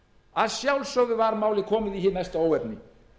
að sjálfsögðu var málið komið í hið mesta óefni